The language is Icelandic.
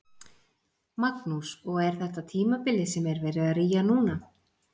Magnús: Og er þetta tímabilið sem er verið að rýja núna?